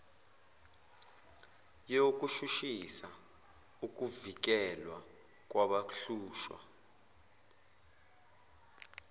yokushushisa ukuvikelwa kwabahlushwa